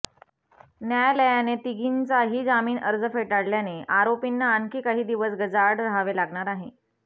न्यायालयाने तिघींचाही जामीन अर्ज फेटाळल्याने आरोपींना आणखी काही दिवस गजाआड रहावे लागणार आहे